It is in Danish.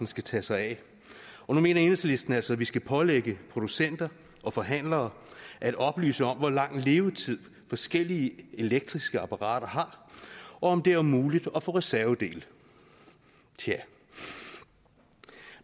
skal tage sig af og nu mener enhedslisten altså at vi skal pålægge producenter og forhandlere at oplyse om hvor lang levetid forskellige elektriske apparater har og om det er muligt at få reservedele tja